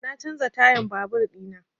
Na canza tayan babur ina